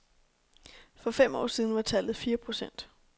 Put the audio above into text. For fem år siden var tallet fire procent.